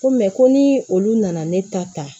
Ko ko ni olu nana ne ta ta